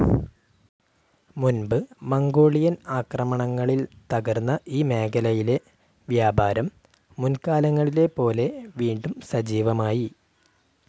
മുൻപ് മംഗോളിയൻ ആക്രമണങ്ങളിൽ തകർന്ന ഈ മേഖലയിലെ വ്യാപാരം മുൻകാലങ്ങളിലെപോലെ വീണ്ടും സജീവമായി.